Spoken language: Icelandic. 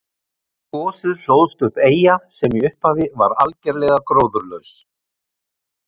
Við gosið hlóðst upp eyja sem í upphafi var algerlega gróðurlaus.